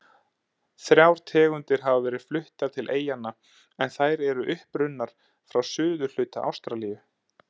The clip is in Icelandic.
Þrjár tegundir hafa verið fluttar til eyjanna en þær eru upprunnar frá suðurhluta Ástralíu.